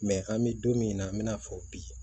an bɛ don min na an bɛ n'a fɔ bi